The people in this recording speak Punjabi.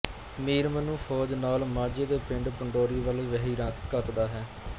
ਮੀਰ ਮੰਨੂ ਫ਼ੌਜ ਨਾਲ ਮਾਝੇ ਦੇ ਪਿੰਡ ਪੰਡੋਰੀ ਵੱਲ ਵਹੀਰਾਂ ਘੱਤਦਾ ਹੈ